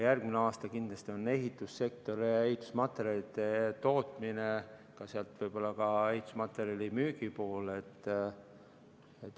Järgmisel aastal kindlasti on ohus ehitussektor ja ehitusmaterjalide tootmine ja võib-olla ka ehitusmaterjalide müügi sektor.